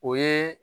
O ye